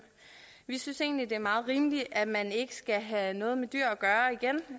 vi synes egentlig at det er meget rimeligt at man ikke skal have noget med dyr